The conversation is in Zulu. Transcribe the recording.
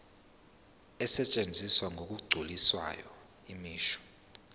asetshenziswa ngokugculisayo imisho